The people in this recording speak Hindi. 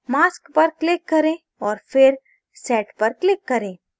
mask पर click करें और फिर set पर click करें